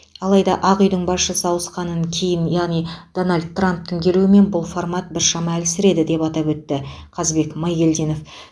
алайда ақ үйдің басшысы ауысқаннан кейін яғни дональд трамптың келуімен бұл формат біршама әлсіреді деп атап өтті қазбек майгелдинов